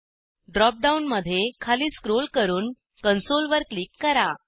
drop डाऊनमध्ये खाली scroll करून कन्सोल वर क्लिक करा